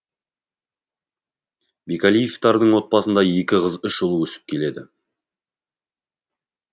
бекәлиевтардың отбасында екі қыз үш ұл өсіп келеді